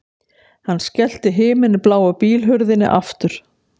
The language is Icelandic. Hann skellti himinbláu bílhurðinni aftur